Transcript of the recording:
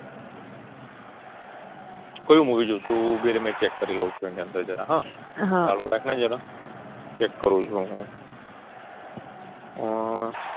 કયુ Movie જોશું ઉભીરે મેં Check કરી લઉં છું એને સેજ ઝરા હા ચાલુ રાખને જરા ચેક કરું છું હું હં